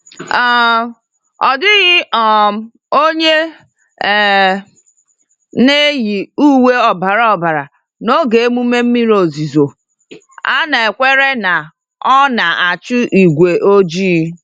um Ọ dịghị um onye um na-eyi uwe ọbara ọbara n'oge emume mmiri ozuzo—a na-ekwere na ọ na-achụ igwe ojii.